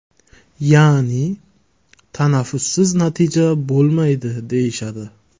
Ya’ni, tanaffussiz natija bo‘lmaydi deyishadi.